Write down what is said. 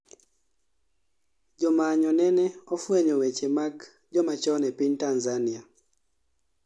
jomanyo nene ofwenyo weche mag jomachon e piny Tanzania